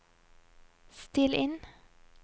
still inn